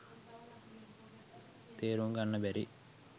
තේරුම්ගන්න බැරි.